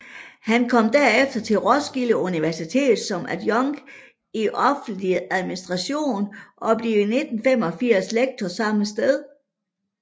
Han kom derefter til Roskilde Universitet som adjunkt i offentlig administration og blev i 1985 lektor samme sted